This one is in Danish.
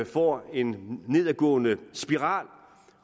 får en nedadgående spiral